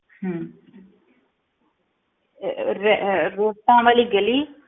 ਹਮ ਅਹ ਰ~ ਅਹ ਰੋਟਾਂ ਵਾਲੀ ਗਲੀ।